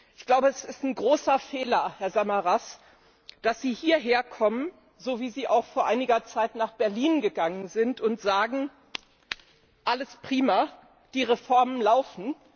Ich glaube, es ist ein großer Fehler, Herr Samaras, dass Sie hierherkommen, wie Sie auch vor einiger Zeit nach Berlin gereist sind, und sagen Alles prima, die Reformen laufen.